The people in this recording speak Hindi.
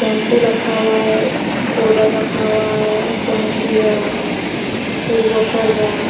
शैम्पू रखा हुआ है और पोडर रखा हुआ है और कैंची है एक बोतल है --